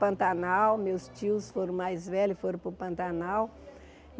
Pantanal, meus tios foram mais velhos, foram para o Pantanal.